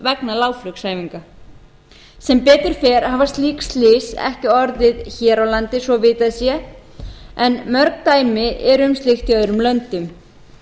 vegna lágflugsæfinga sem betur fer hafa slík slys ekki orðið hér á landi svo vitað sé en mörg dæmi eru um slíkt í öðrum löndum